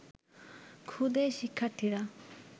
ক্ষুদে শিক্ষার্থীরা